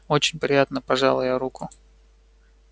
очень приятно пожала я руку